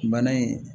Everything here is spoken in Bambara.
Bana in